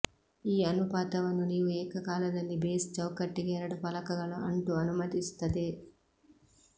ಈ ಅನುಪಾತವನ್ನು ನೀವು ಏಕಕಾಲದಲ್ಲಿ ಬೇಸ್ ಚೌಕಟ್ಟಿಗೆ ಎರಡು ಫಲಕಗಳು ಅಂಟು ಅನುಮತಿಸುತ್ತದೆ